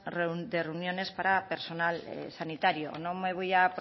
de reuniones para personal sanitario no me voy a